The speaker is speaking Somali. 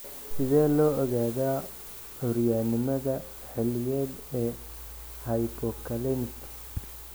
Sidee loo ogaadaa curyaannimada xilliyeed ee hypokalemic?